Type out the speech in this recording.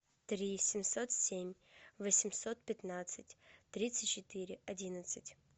три семьсот семь восемьсот пятнадцать тридцать четыре одиннадцать